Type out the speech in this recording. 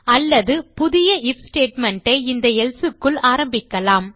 அலல்து புதிய IF statement ஐ இந்த எல்சே க்குள் ஆரம்பிக்கலாம்